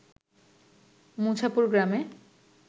মুছাপুর গ্রামে